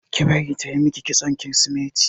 Ki bari tayi miki kitson kirisimeti!